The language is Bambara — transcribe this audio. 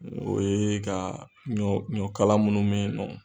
O ye ka ɲɔ ɲɔ kala minnu me yen nɔ